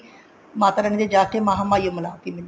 ਮਾਤਾ ਰਾਣੀ ਦੇ ਜਾ ਕੇ ਮਹਾ ਮਾਈ ਓ ਮਿਲਾਤੀ ਮੈਨੂੰ